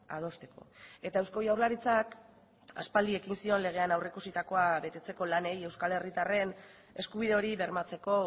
adosteko eta eusko jaurlaritzak aspaldi ekin zion legean aurreikusitako betetzeko lanei euskal herritarren eskubide hori bermatzeko